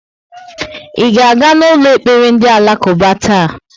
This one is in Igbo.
I ga-aga n'ụlọ ekpere ndị Alakuba taa?